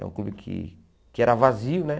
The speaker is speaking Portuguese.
É um clube que que era vazio, né?